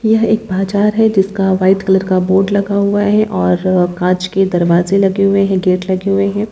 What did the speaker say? यहँ एक बाजार है जिसका व्हाइट कलर का बोर्ड लगा हुआ है और अ कांच के दरवाजे लगे हुए हैं। गेट लगे हुए हैं।